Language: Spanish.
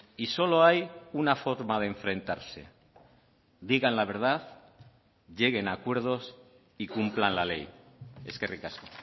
y solo hay una forma de enfrentarse digan la verdad lleguen a acuerdos y cumplan la ley eskerrik asko